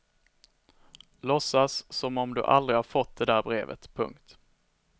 Låtsa som om du aldrig har fått det där brevet. punkt